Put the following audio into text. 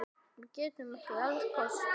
Við getum ekki elskast hér.